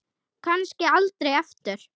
Kannski aldrei aftur.